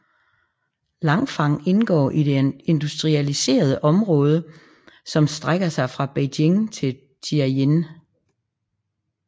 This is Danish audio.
Langfang indgår i det industrialiserede område som og strækker sig fra Beijing til Tianjin